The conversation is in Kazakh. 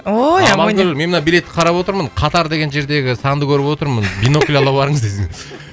ой амоня амангүл мен мына билетті қарап отырмын қатар деген жердегі санды көріп отырмын бинокль ала барыңыз десең